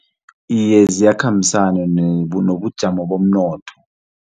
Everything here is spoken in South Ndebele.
Iye, ziyakhambisana nobujamo bomnotho.